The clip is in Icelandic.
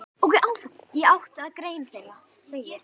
Í áttundu grein þeirra segir